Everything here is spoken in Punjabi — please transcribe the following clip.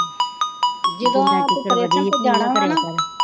ਜਦੋਂ ਔਪਰੇਸ਼ਨ ਤੇ ਜਾਣਾ ਹਾ ਨਾਂ,